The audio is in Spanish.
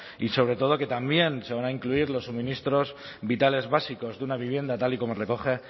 y sobre todo que también se van a incluir los suministros vitales básicos de una vivienda tal y como recoge